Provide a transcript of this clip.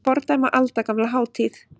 Fordæma aldagamla hátíð